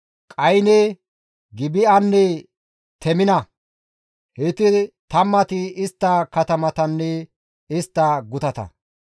Qayne, Gibi7anne Temina; heyti tammati istta katamatanne istta gutata.